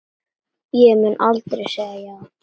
Ég mun aldrei segja já.